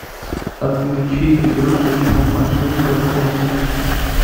отключить игрушечная машинка в семь утра